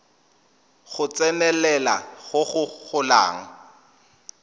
go tsenelela go go golang